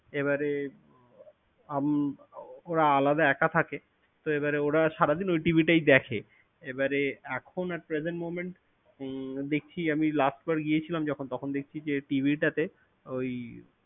এবারে, আম~ ওরা আলাদা একা থাকে। তো এবার ওরা সারাদিন ওই TV টাই দেখে। এবারে এখন at present monent দেখি আমি last বার গিয়েছিলাম যখন তখন দেখি, যে TV টাতে ওই